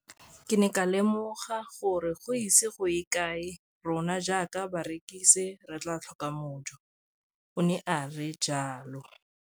Ke ne ka lemoga gore go ise go ye kae rona jaaka barekise re tla tlhoka mojo, o ne a re jalo.